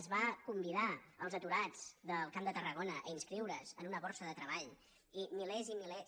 es va convidar els aturats del camp de tar·ragona a inscriure’s en una borsa de treball i milers i milers